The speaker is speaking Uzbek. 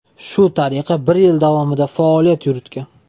Shu tariqa bir yil davomida faoliyat yuritgan.